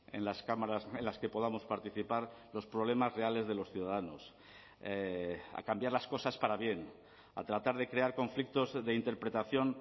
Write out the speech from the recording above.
en las cámaras en las que podamos participar los problemas reales de los ciudadanos a cambiar las cosas para bien a tratar de crear conflictos de interpretación